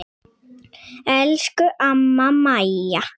Elsku amma Maja.